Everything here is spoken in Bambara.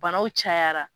Banaw cayara